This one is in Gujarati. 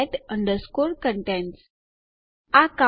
તો હું file get contents ટાઇપ કરીશ